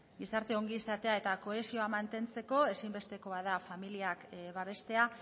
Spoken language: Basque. gizarte ongizatea eta kohesioa mantentzeko ezinbestekoa da familiak babestea